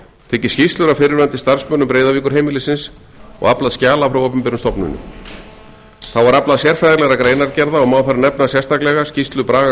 tekið skýrslur af fyrrverandi starfsmönnum breiðavíkurheimilisins og aflað skjala frá opinberum stofnunum þá var aflað sérfræðilegra greinargerða og má þar nefna sérstaklega skýrslu braga